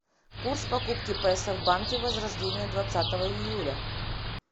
курс покупки песо в банке возрождение двадцатого июля